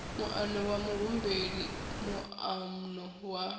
muano wa muhumbeli moano wa